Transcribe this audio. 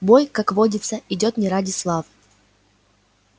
бой как водится идёт не ради славы